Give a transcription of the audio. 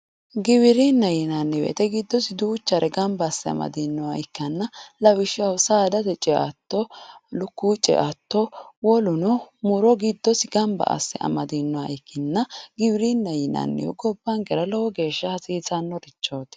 giwirinnaho yinanni woyte giddosi duuchare gamba asse amadinoha ikkanna lawishshaho, saadate ceatto, lukkuwu ceatto woluno muro giddosi gamba asse amadinoha ikkanna ,giwirinnaho yinannihu gobbankera lowo geeshsha hasiisannorichooti.